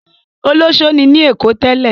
Olọṣó ni ní Èkó tẹ́lẹ̀?